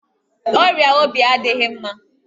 Ọrịa obi adịghị mma